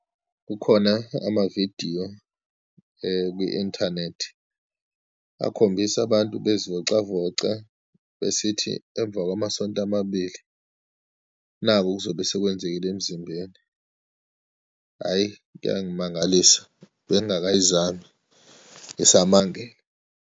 Kukhona amavidiyo kwi-inthanethi, akhombisa abantu bezivocavoca, besithi emva kwamasonto amabili naku okuzobe sekwenzekile emzimbeni. Hhayi, kuyangimangalisa, bengingakayizami, ngisamangele.